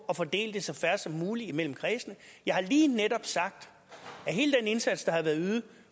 at fordele det så fair som muligt imellem kredsene jeg har lige netop sagt at hele den indsats der har været ydet